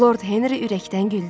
Lord Henri ürəkdən güldü.